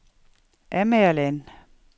Amagerland